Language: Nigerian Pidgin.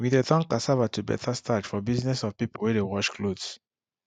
we dey turn cassava to better starch for business of people wey de wash clothes